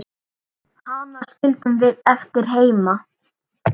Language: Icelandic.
Hana skildum við eftir heima.